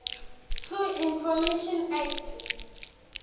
to information act